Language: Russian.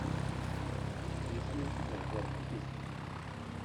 есть ли у тебя угарные песни